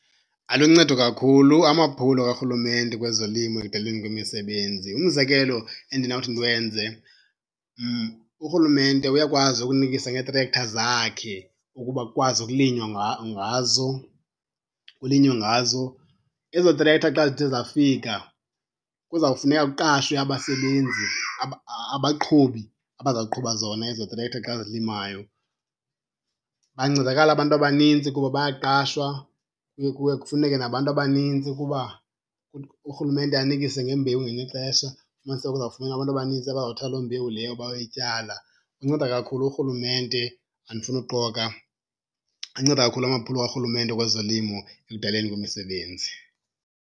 Aluncedo kakhulu amaphulo karhulumente kwezolimo ekudalweni kwemisebenzi. Umzekelo endinawuthi ndiwenze, urhulumente uyakwazi ukunikisa ngeetrektha zakhe ukuba kukwazi ukulinywa ngazo, kulinywe ngazo. Ezo trektha xa zithe zafika kuzawufuneka kuqashwe abasebenzi, abaqhubi abazawuqhuba zona ezo trektha xa zilimayo. Bayancedakala abantu abanintsi kuba bayaqashwa. Kuye, kuye kufuneke nabantu abanintsi kuba urhulumente anikise ngembewu ngelinye ixesha. Ufumaniseke kuzawufuneka abantu abanintsi abazawuthatha loo mbewu leyo bayoyityala. Unceda kakhulu urhulumente andifuni uxoka. Anceda kakhulu amaphulo karhulumente kwezolimo ekudaleni kwemisebenzi.